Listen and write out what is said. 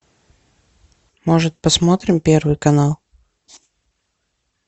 может посмотрим первый канал